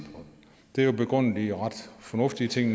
der er begrundet i ret fornuftige ting